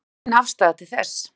Hver er þín afstaða til þess?